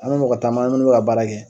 An ni ka taama an n'u bi ka baara kɛ